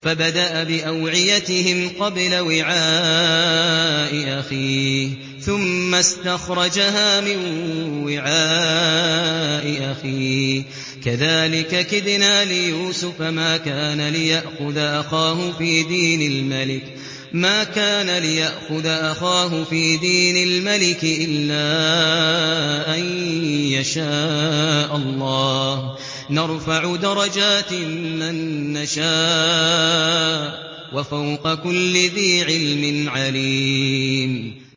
فَبَدَأَ بِأَوْعِيَتِهِمْ قَبْلَ وِعَاءِ أَخِيهِ ثُمَّ اسْتَخْرَجَهَا مِن وِعَاءِ أَخِيهِ ۚ كَذَٰلِكَ كِدْنَا لِيُوسُفَ ۖ مَا كَانَ لِيَأْخُذَ أَخَاهُ فِي دِينِ الْمَلِكِ إِلَّا أَن يَشَاءَ اللَّهُ ۚ نَرْفَعُ دَرَجَاتٍ مَّن نَّشَاءُ ۗ وَفَوْقَ كُلِّ ذِي عِلْمٍ عَلِيمٌ